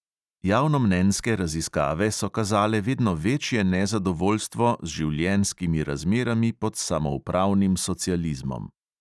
Javnomnenjske raziskave so kazale vedno večje nezadovoljstvo z življenjskimi razmerami pod samoupravnim socializmom.